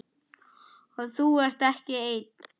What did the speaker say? Og þú ert ekki einn.